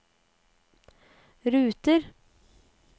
ruter